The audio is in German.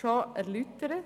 bereits erläutert.